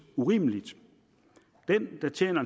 urimeligt den der tjener